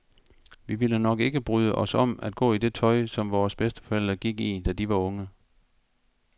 Vi ville nok ikke bryde os om at gå i det tøj, som vores bedsteforældre gik i, da de var unge.